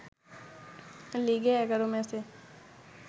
লিগে ১১ ম্যাচে